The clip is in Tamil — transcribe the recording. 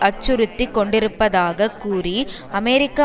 அச்சுறுத்தி கொண்டிருப்பதாக கூறி அமெரிக்க